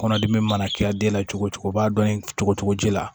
Kɔnɔdimi mana kɛ den la cogo o cogo o b'a dɔn cogo cogo ji la